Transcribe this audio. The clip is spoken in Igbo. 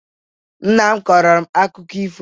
Nna m kọrọ m akụkọ ifo.